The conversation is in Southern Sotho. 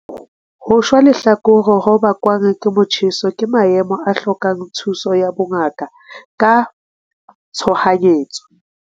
Ho shwa lehlakore ho bakwang ke motjheso ke maemo a hlokang thuso ya bongaka ka tshohanyetso.